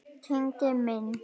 Tengdi minn.